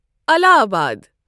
الہ آباد